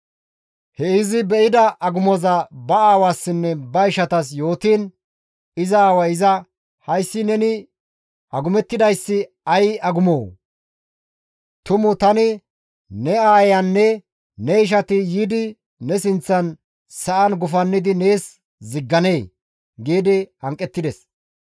He izi be7ida agumoza ba aawassinne ba ishatas yootiin iza aaway iza, «Hayssi neni agumettidayssi ay agumoo? Tumu tani, ne aayeyanne ne ishati yiidi ne sinththan sa7an gufannidi nees zigganee?» gi hanqettides.